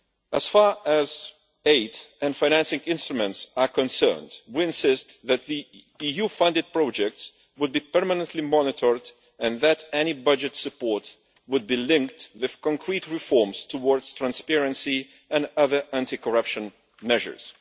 As far as aid and financing instruments are concerned, we insist that EU funded projects be permanently monitored and that any budget support be linked with concrete reforms towards transparency and other anti corruption measures.